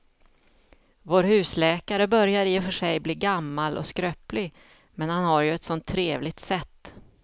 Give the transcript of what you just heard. Vår husläkare börjar i och för sig bli gammal och skröplig, men han har ju ett sådant trevligt sätt!